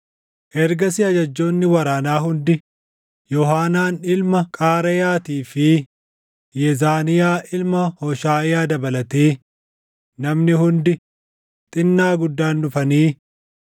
Ergasii ajajjoonni waraanaa hundi Yoohaanaan ilma Qaareyaatii fi Yezaaniyaa ilma Hooshaʼiyaa dabalatee, namni hundi, xinnaa guddaan dhufanii